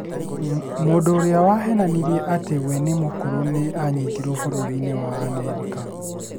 Mũndũ ũrĩa wahenanirie atĩ we nĩ mũkũrũ nĩ anyitĩtwo bũrũri-inĩ wa Amerika